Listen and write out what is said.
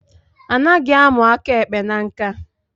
Anaghị a mụ aka ekpe na nkà